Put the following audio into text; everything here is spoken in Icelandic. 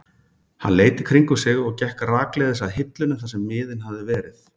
Hann leit í kringum sig og gekk rakleiðis að hillunni þar sem miðinn hafði verið.